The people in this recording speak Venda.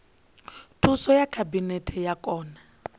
thuso ya khabinete wa kona